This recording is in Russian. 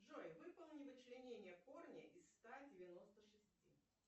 джой выполни вычленение корня из ста девяноста шести